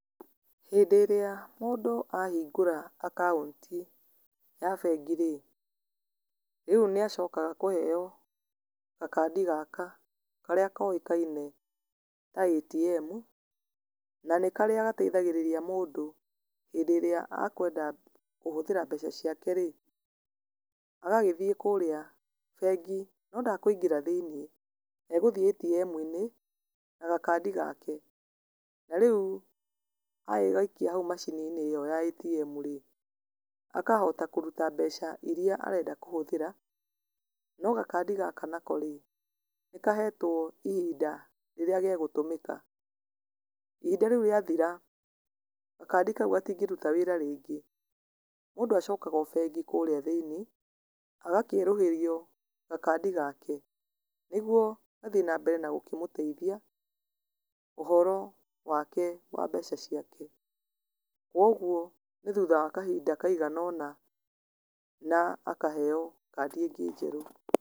Hĩndĩ ĩrĩa mũndũ a hingũra akaunti ya bengi rĩ, rĩu nĩ acokaga kũheo gakandi gaka, karĩa koĩkaine ta ATM, na nĩ karĩa gateithagĩrĩria mũndũ hĩndĩ ĩrĩa akwenda kũhũthĩra mbeca ciake rĩ, agagĩthiĩ kũrĩa bengi, no ndekwĩingĩra thĩiniĩ, egũthiĩ ATM-inĩ na gakandi gake. Na rĩu agagĩgaikia hau macini-inĩ ĩyo ya ATM rĩ, akahota kũruta mbeca iria arenda kũhũthĩra, no gakandi gaka nako rĩ, nĩ kahetwo ihinda rĩrĩa gegũtũmĩka. Ihinda rĩu rĩa thira, gakandi kau gatingĩruta wĩra rĩngĩ. Mũndũ acokaga bengi kũrĩa thĩiniĩ, agakĩerũhĩrio gakandi gake, nĩguo gathiĩ na mbere na gũkĩmũteithia, ũhoro wake wa mbeca ciake. Koguo nĩ thutha wa kahinda kaiganona na akaheyo kandi ingĩ njerũ.